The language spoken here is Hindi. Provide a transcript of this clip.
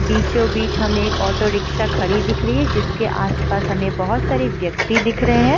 बीचो-बीच हमे एक ऑटो रिक्शा खड़ी दिख रही है जिसके आस-पास हमे बहोत सारे व्यक्ति दिख रहे है।